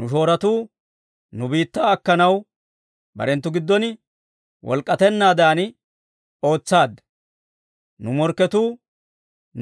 Nu shoorotuu nu biittaa akkanaw, barenttu gidon walak'ettanaadan ootsaadda; nu morkketuu